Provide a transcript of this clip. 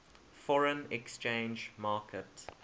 foreign exchange market